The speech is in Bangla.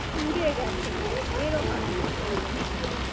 পুড়ে গেছে পুরো, এরকম অবস্থা হয়ে গেছিলো।